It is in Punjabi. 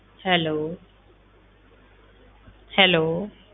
Hello hello